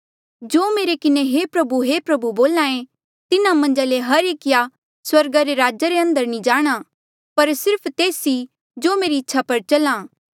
जो मेरे किन्हें हे प्रभु हे प्रभु बोल्हा ऐें तिन्हा मन्झा ले हर एकिया स्वर्गा रे राजा रे अंदर नी जाणा पर सिर्फ तेस ई जो मेरी इच्छा पर चल्हा